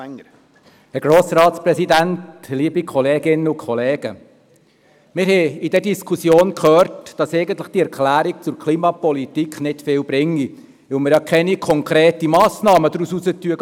Wir haben in dieser Diskussion gehört, dass die Erklärung zur Klimapolitik nicht viel bringe, weil wir keine konkreten Massnahmen daraus ableiten würden.